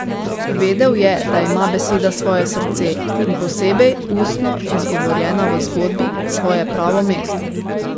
Vedel je, da ima beseda svoje srce in, posebej ustno izgovorjena v zgodbi, svoje pravo mesto.